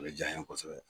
O de diyara n ye kosɛbɛ